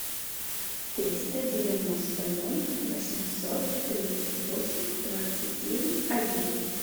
триста девяносто ноль восемьсот тридцать восемь двадцать девять один